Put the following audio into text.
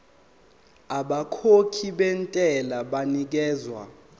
abakhokhi bentela banikezwa